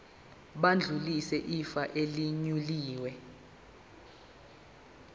bayodlulisela ifa elinewili